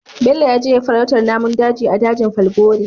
Bello yaje farautar namun daji a dajin falgore